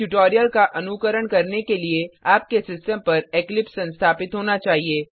इस ट्यूटोरियल का अनुकरण करने के लिए आपके सिस्टम पर इक्लिप्स संस्थापित होना चाहिए